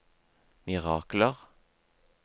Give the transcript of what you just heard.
mirakler